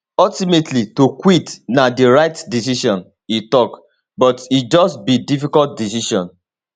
ultimately to quit na di right decision e tok but e just be difficult decision